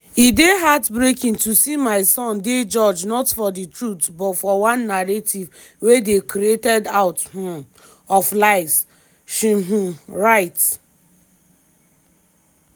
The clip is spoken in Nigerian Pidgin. "e dey heart-breaking to see my son dey judged not for di truth but for one narrative wey dey created out um of lies" she um write.